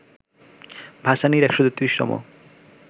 ভাসানীর ১৩৩তম